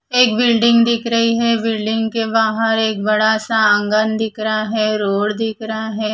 एक बिल्डिंग दिख रही है बिल्डिंग के बाहर एक बड़ा सा आंगन दिख रहा है रोड दिख रहा है।